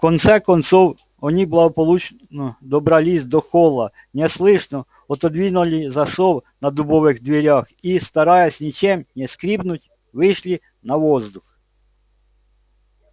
в конце концов они благополучно добрались до холла неслышно отодвинули засов на дубовых дверях и стараясь ничем не скрипнуть вышли на воздух